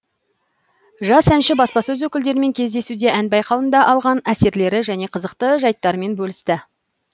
жас әнші баспасөз өкілдерімен кездесуде ән байқауында алған әсерлері және қызықты жайттарымен бөлісті